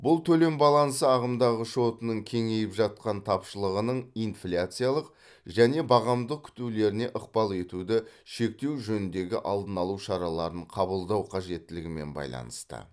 бұл төлем балансы ағымдағы шотының кеңейіп жатқан тапшылығының инфляциялық және бағамдық күтулеріне ықпал етуді шектеу жөніндегі алдын алу шараларын қабылдау қажеттілігімен байланысты